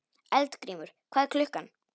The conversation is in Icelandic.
Eldgrímur, hvað er klukkan?